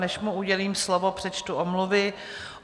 Než mu udělím slovo, přečtu omluvy.